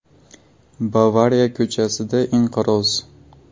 “Bavariya” ko‘chasida inqiroz.